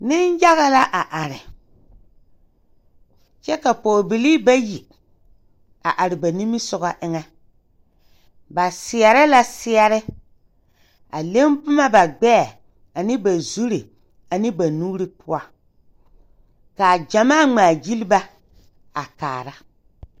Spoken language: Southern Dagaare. Neŋyaga la are kyɛ ka pɔɔbilii bayi a are ba nimisugɔ eŋɛ ba seɛrɛ la seɛre a leŋ boma ba gbɛɛ ane ba zure ane ba nuure poɔ kaa gyamaa ngmaagyile ba a kaara.